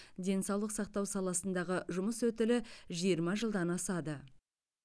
денсаулық сақтау саласындағы жұмыс өтілі жиырма жылдан асады